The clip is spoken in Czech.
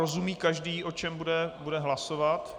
Rozumí každý, o čem bude hlasovat?